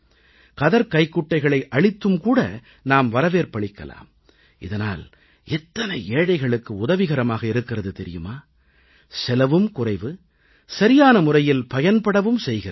கதர்க்கைக்குட்டைகளை அளித்தும் கூட நாம் வரவேற்பளிக்கலாம் இதனால் எத்தனை ஏழைகளுக்கு உதவிகரமாக இருக்கிறது தெரியுமா செலவும் குறைவு சரியான முறையில் பயன்படவும் செய்கிறது